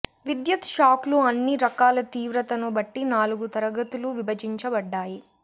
విద్యుత్ షాక్లు అన్ని రకాల తీవ్రతను బట్టి నాలుగు తరగతులు విభజించబడ్డాయి